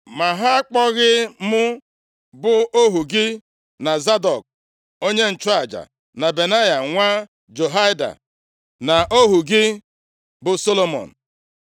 Ma ha akpọghị mụ bụ ohu gị na Zadọk, onye nchụaja, na Benaya nwa Jehoiada, na ohu gị bụ Solomọn.